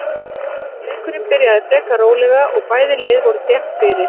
Leikurinn byrjaði frekar rólega og bæði lið voru þétt fyrir.